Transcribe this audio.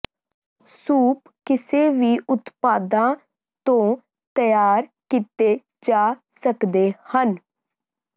soup ਕਿਸੇ ਵੀ ਉਤਪਾਦਾਂ ਤੋਂ ਤਿਆਰ ਕੀਤੇ ਜਾ ਸਕਦੇ ਹਨ